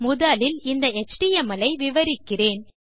முதலில் இந்த எச்டிஎம்எல் ஐ விவரிக்கிறேன்